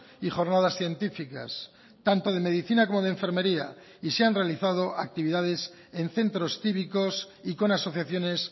y jornadas científicas tanto de medicina como de enfermería y se han realizado actividades en centros cívicos y con asociaciones